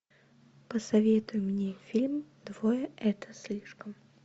посоветуй мне фильм двое это слишком